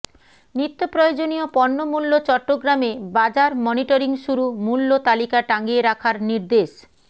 নিত্যপ্রয়োজনীয় পণ্যমূল্য চট্টগ্রামে বাজার মনিটরিং শুরু মূল্য তালিকা টাঙিয়ে রাখার নির্দেশ